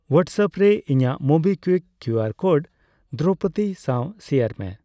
WhatsApp ᱨᱮ ᱤᱧᱟᱜ MobiKwik QR code Droupadi ᱥᱟᱣ ᱥᱮᱭᱟᱨ ᱢᱮ ᱾